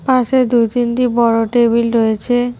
পাশে দুই তিনটি বড় টেবিল রয়েছে।